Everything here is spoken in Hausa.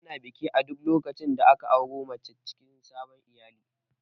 Ana biki a duk lokacin da aka auro mace cikin sabon iyali